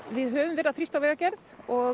við höfum þrýst á vegagerð og